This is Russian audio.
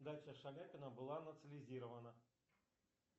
дача шаляпина была национализирована